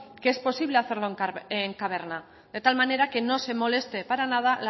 que es posible hacerlo en caverna de tal manera que no se moleste para nada